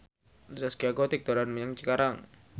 Zaskia Gotik dolan menyang Cikarang